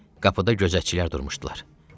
Qapıda gözətçilər durmuşdular.